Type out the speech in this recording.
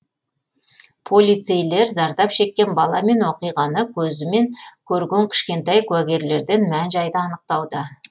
полицейлер зардап шеккен бала мен оқиғаны көзімен көрген кішкентай куәгерлерден мән жайды анықтауда